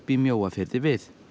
í Mjóafirði við